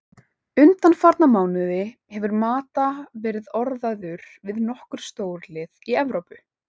Undanfarna mánuði hefur Mata verið orðaður við nokkur stórlið í Evrópu.